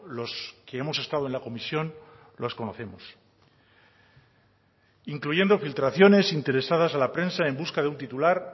los que hemos estado en la comisión los conocemos incluyendo filtraciones interesadas a la prensa en busca de un titular